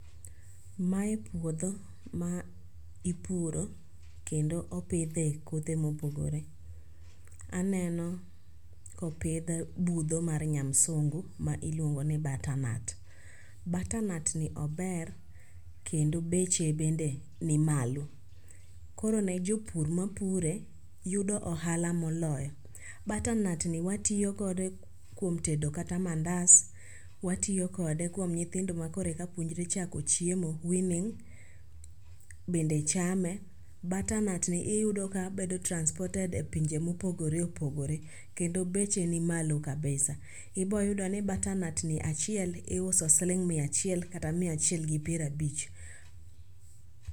Mae puodho ma ipuro kendo opidhe kothe mopogore. Aneno kopidh budho mar nyamsungu ma iluongo ni butternut. Butternut ni ober kendo beche be ni malo, koro ne jopur mapure yudo ohala moloyo. Butternut ni watiyo kode kuom tedo kata mandas, watiyo kode kuom nyithindo makoro eka puonjre chako chiemo (weaning) bende chame, butternut ni iyudo ka bedo transported e pinje mopogore opogore kendo beche ni malo kabisa. Iboyudo ni butternut ni achiel iuso achiel siling' mia achiel kata mia achiel gi pier abich.